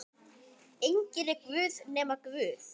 Enginn er guð nema Guð.